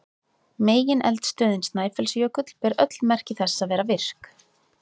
Megineldstöðin Snæfellsjökull ber öll merki þess að vera virk.